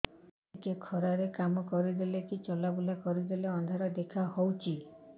ଟିକେ ଖରା ରେ କାମ କରିଦେଲେ କି ଚଲବୁଲା କରିଦେଲେ ଅନ୍ଧାର ଦେଖା ହଉଚି